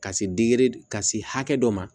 Ka se ka se hakɛ dɔ ma